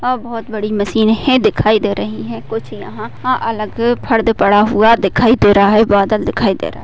अ बहुत बड़ी मशीने हे दिखाई दे रही है कुछ यहा आ अलग फर्ड पड़ा हुवा दिखाई दे रहा है बादल दिखाई दे रहा।